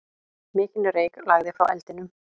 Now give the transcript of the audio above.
Mikinn reyk lagði frá eldinum.